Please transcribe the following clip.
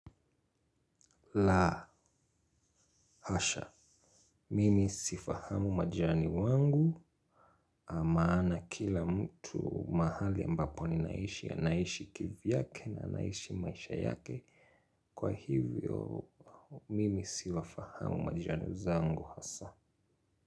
La, hasha. Mimi sifahamu majirani wangu maana kila mtu mahali ambapo ninaishi anaishi kivyake na anaishi maisha yake. Kwa hivyo, mimi siwafahamu majirani zangu hasa.